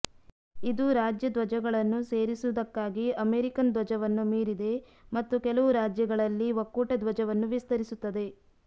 ಇದು ರಾಜ್ಯ ಧ್ವಜಗಳನ್ನು ಸೇರಿಸುವುದಕ್ಕಾಗಿ ಅಮೆರಿಕನ್ ಧ್ವಜವನ್ನು ಮೀರಿದೆ ಮತ್ತು ಕೆಲವು ರಾಜ್ಯಗಳಲ್ಲಿ ಒಕ್ಕೂಟ ಧ್ವಜವನ್ನು ವಿಸ್ತರಿಸುತ್ತದೆ